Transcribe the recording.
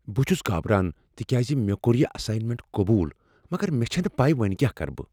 بہٕ چھس گابران تکیاز مےٚ کوٚر یہ اساینمنٛٹ قبول مگر مےٚ چھنہٕ پیی وۄنۍ کیٛاہ کرٕ بہٕ۔